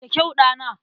Da kyau, ɗana!